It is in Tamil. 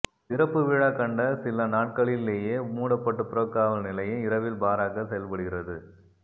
திறப்புவிழா கண்ட சில நாட்களிலேயே மூடப்பட்ட புறக்காவல் நிலையம் இரவில் பாராக செயல்படுகிறது